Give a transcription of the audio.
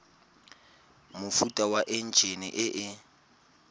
mofuta wa enjine e e